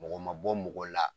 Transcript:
Mɔgɔ ma bɔ mɔgɔ la